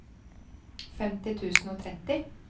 femti tusen og tretti